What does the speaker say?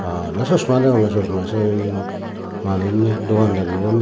bana chosma degonge chosma sien manuch nei dogandaribo nei.